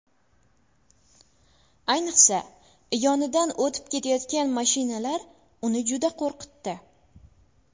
Ayniqsa, yonidan o‘tib ketayotgan mashinalar uni juda qo‘rqitdi.